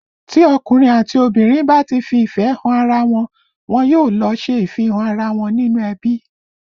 Tí ọkùnrin àti obìnrin bá ti fi ìfẹ́ han ara wọn, wọn yóò lọ ṣe ìfihàn ara wọn nínú ẹbí